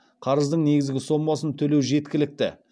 қарыздың негізгі сомасын төлеу жеткілікті